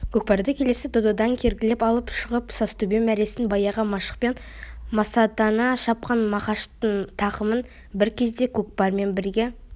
көкпарды келесі додадан кергілеп алып шығып сазтөбе мәресіне баяғы машықпен масаттана шапқан мақаштың тақымы бір кезде көкпармен бірге